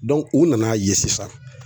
u nana ye sisan